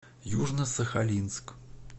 южно сахалинск